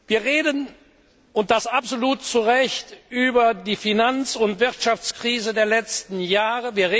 Wir reden und das absolut zu Recht über die Finanz und Wirtschaftkrise der letzten Jahre.